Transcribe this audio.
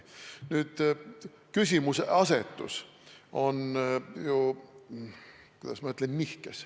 Küsimuse asetus on ju nihkes.